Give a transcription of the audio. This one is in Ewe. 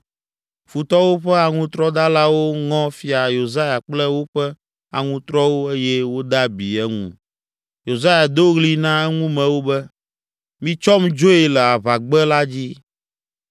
Futɔwo ƒe aŋutrɔdalawo ŋɔ Fia Yosia kple woƒe aŋutrɔwo eye wode abi eŋu. Yosia do ɣli na eŋumewo be, “Mitsɔm dzoe le aʋagbe la dzi.”